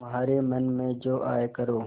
तुम्हारे मन में जो आये करो